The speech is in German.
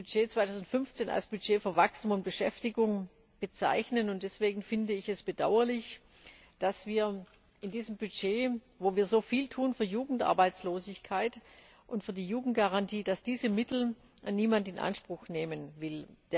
Ich möchte das Budget 2015 als Budget für Wachstum und Beschäftigung bezeichnen. Deswegen finde ich es bedauerlich, dass aus diesem Budget, in dem wir so viel gegen Jugendarbeitslosigkeit und für die Jugendgarantie tun, niemand diese Mittel in Anspruch nehmen will.